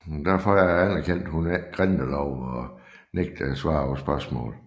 Derfor anerkendte hun ikke grindeloven og nægtede at svare på spørgsmål